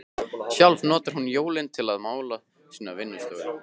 Sjálf notar hún jólin til að mála sína vinnustofu.